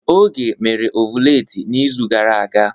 Oge mere ọvụletị n'izu gara aga.